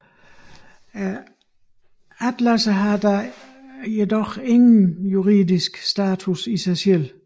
Atlassene har dog ingen juridisk status i sig selv